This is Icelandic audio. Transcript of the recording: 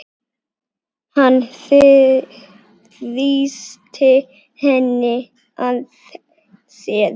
Hann þrýsti henni að sér.